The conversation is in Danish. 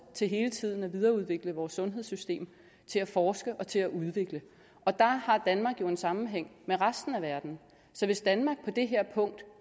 til hele tiden at videreudvikle vores sundhedssystem til at forske og til at udvikle og der har danmark jo en sammenhæng med resten af verden så hvis danmark på det her punkt